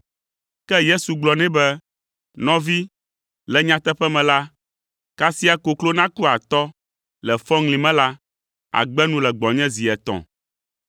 Ke Yesu gblɔ nɛ be, “Nɔvi, le nyateƒe me la, kasia koklo naku atɔ le fɔŋli me la, àgbe nu le gbɔnye zi etɔ̃.”